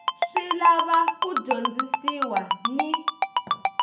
swi lava ku dyondzisiwa ni